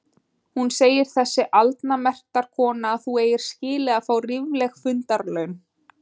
Hún segir þessi aldna mektarkona að þú eigir skilið að fá rífleg fundarlaun!